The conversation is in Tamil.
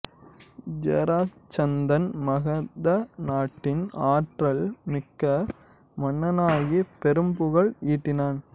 ஜராசந்தன் மகத நாட்டின் ஆற்றல் மிக்க மன்னனாகிப் பெரும் புகழ் ஈட்டினான்